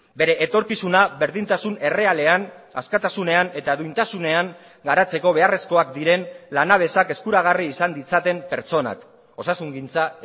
bere etorkizuna berdintasun errealean askatasunean eta duintasunean garatzeko beharrezkoak diren lanabesak eskuragarri izan ditzaten pertsonak osasungintza